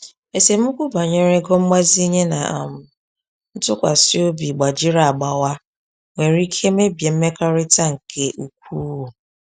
Esemokwu banyere ego mgbazinye na um ntụkwasị obi gbajiri agbawa nwere ike mebie mmekọrịta nke ukwuu.